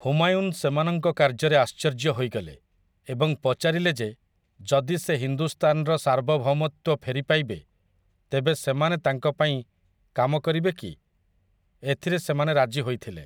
ହୁମାୟୁନ୍ ସେମାନଙ୍କ କାର୍ଯ୍ୟରେ ଆଶ୍ଚର୍ଯ୍ୟ ହୋଇଗଲେ ଏବଂ ପଚାରିଲେ ଯେ ଯଦି ସେ ହିନ୍ଦୁସ୍ତାନର ସାର୍ବଭୌମତ୍ୱ ଫେରି ପାଇବେ ତେବେ ସେମାନେ ତାଙ୍କ ପାଇଁ କାମ କରିବେ କି ? ଏଥିରେ ସେମାନେ ରାଜି ହୋଇଥିଲେ ।